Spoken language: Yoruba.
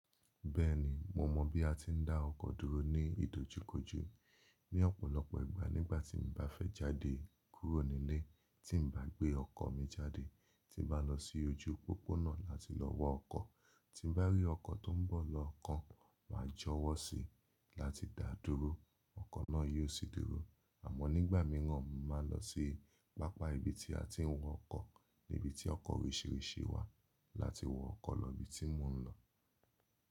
Bẹ́ẹ̀ni, mo mọ̀ bí a tin dá ọkọ̀ dúró ní ìdojúkojú. Ni ọ̀pọ̀lọpọ̀ ìgbà nígbà tí mo bá fẹ́ jáde kúrò nílé, tí n bá gbé ọkọ̀ mi jáde, tí n bá lọ sí ojú pópónà láti lọ wá ọkọ̀, tí n bá rí ọkọ̀ tó ń bọ̀ lọ́ kan, màá jọ̀wọ́ síi láti dà á dúró, ọkọ̀ náà yóò sì dúró. Àmọ́ nígbà míràn, mo máa ń lọ sí pápá ibi tí a ti ń wọ ọkọ̀, níbi tí ọkọ̀ òrisirisi wà láti wọ ọkọ̀ lọ ibi tí mò ń lọ.